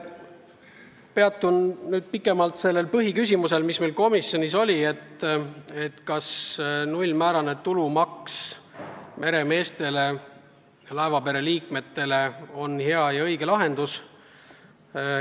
Peatun nüüd pikemalt põhiküsimusel, mis komisjonis arutlusel oli: kas nullmääraga tulumaks meremeestele ja teistele laevapere liikmetele on hea ja õige lahendus.